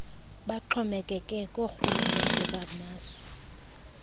baxhomekeke koorhulumente bamazwe